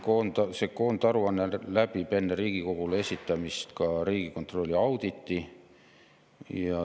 See koondaruanne läbis enne Riigikogule esitamist ka Riigikontrolli auditi.